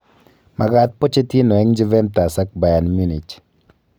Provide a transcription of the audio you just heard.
Magaat Pochettino eng Juventas ak Bayan Munich